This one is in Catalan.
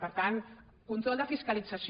per tant control de fiscalització